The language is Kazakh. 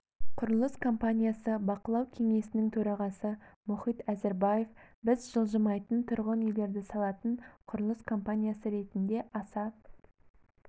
құрылыс компаниясы бақылау кеңесінің төрағасы мұхит әзірбаев біз жылжымайтын тұрғын үйлерді салатын құрылыс компаниясы ретінде аса